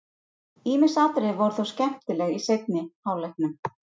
Ýmis atriði voru þó skemmtileg í seinni hálfleiknum.